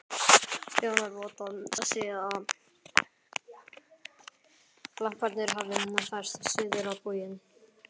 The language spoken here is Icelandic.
Sjónarvottar segja, að glamparnir hafi færst suður á bóginn.